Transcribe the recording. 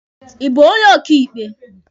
Ị bụ onye ọkaịkpe?